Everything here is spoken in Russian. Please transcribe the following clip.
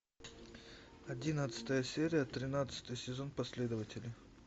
одиннадцатая серия тринадцатый сезон последователи